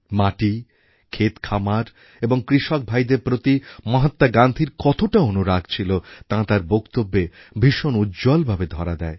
মাটি ক্ষেতখামার এবং কৃষক ভাইদের প্রতি মহাত্মা গান্ধীর কতটা অনুরাগ ছিল তা তাঁর বক্তব্যে ভীষণ উজ্জ্বল ভাবে ধরা দেয়